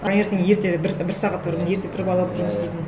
таңертең ерте бір сағат бұрын ерте тұрып алып жұмыс істейтін